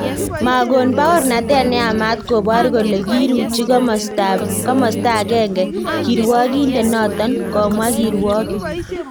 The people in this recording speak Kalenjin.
Makon paornatet neyamat kobor kole kiruchi komasta agenge kirwakindet noton , komwa kirwokgik